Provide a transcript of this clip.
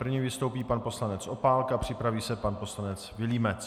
První vystoupí pan poslanec Opálka, připraví se pan poslanec Vilímec.